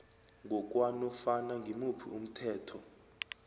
ngokwanofana ngimuphi umthetho